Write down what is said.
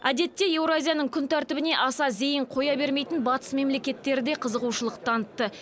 әдетте еуразияның күн тәртібіне аса зейін қоя бермейтін батыс мемлекеттері де қызығушылық танытты